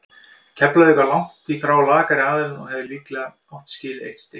Keflavík var langt í frá lakari aðilinn og hefði líklega átt skilið eitt stig.